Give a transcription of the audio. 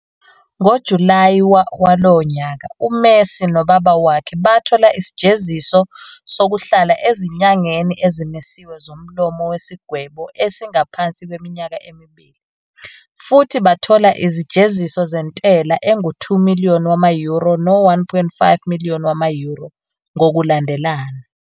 NgoJulayi walowo nyaka, uMessi no-ubaba wakhe bathola isijeziso sokuhlala ezinyangeni ezimisiwe zomlomo wesigwebo esingaphansi kweminyaka emibili, futhi bathola izijeziso zentela zangu-2 million wama-euro no-1.5 million wama-euro, ngokulandelana.